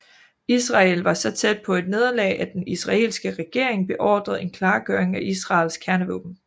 Israel var så tæt på et nederlag at den israelske regering beordrede en klargøring af Israels kernevåben